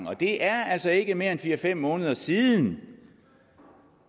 og det er altså ikke mere end fire fem måneder siden